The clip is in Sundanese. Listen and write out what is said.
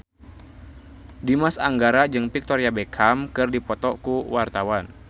Dimas Anggara jeung Victoria Beckham keur dipoto ku wartawan